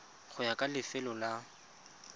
go ya ka lefelo la